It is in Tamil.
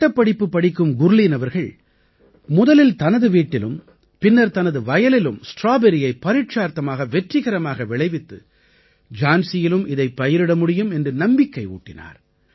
சட்டப்படிப்பு படிக்கும் குர்லீன் அவர்கள் முதலில் தனது வீட்டிலும் பின்னர் தனது வயலிலும் ஸ்ட்ராபெர்ரியை பரீட்சார்த்தமாக வெற்றிகரமாக விளைவித்து ஜான்சியிலும் இதைப் பயிரிட முடியும் என்று நம்பிக்கை ஊட்டினார்